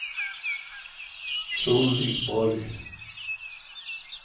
Solveig Borg